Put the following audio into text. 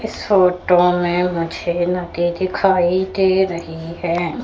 इस फोटो में मुझे नदी दिखाई दे रही हैं।